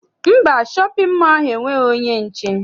Mba, shọpịn mọọ ahụ enweghị onye nche.